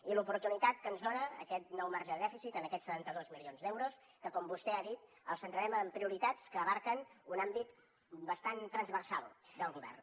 i l’oportunitat que ens dona aquest nou marge de dèficit amb aquests setanta dos milions d’euros que com vostè ha dit els centrarem en prioritats que abasten un àmbit bastant transversal del govern